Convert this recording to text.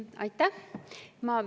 Aitäh!